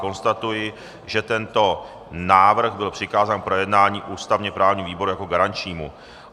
Konstatuji, že tento návrh byl přikázán k projednání ústavně-právnímu výboru jako garančnímu.